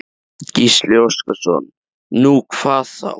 Gísli Óskarsson: Nú, hvað þá?